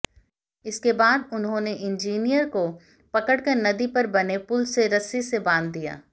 इसके बाद उन्होंने इंजीनियर को पकड़कर नदी पर बने पुल से रस्सी से बांध दिया